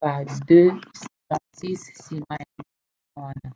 ba il-76 nsima ya likama wana